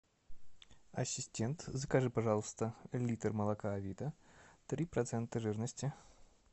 ассистент закажи пожалуйста литр молока авида три процента жирности